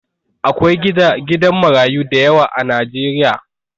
Akwai gidan marayu dayawa a Najeriya